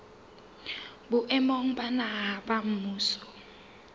boemong ba naha ba mmuso